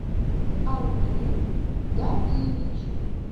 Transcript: арутюн гавиевич